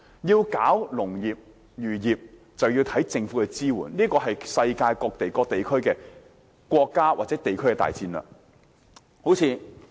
農業及漁業發展視乎政府的支援，這是世界各國及地區的大戰略。